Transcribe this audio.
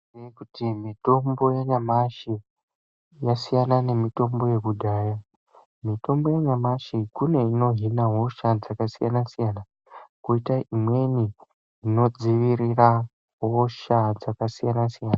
Mitombo yanyamashi yasiyana nemitombo yakudhaya, mitombo yanyamashi kune inohina hosha dzakasiyana-siyana, koita imweni inodziirira hosha dzakasiyana-siyana.